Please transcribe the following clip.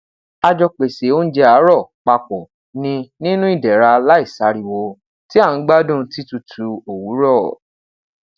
a jọ pese ounjẹ aarọ papọ ni ninu idẹra laisariwo ti a n gbadun titutu owurọ